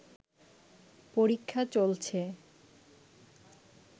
পরীক্ষা চলছে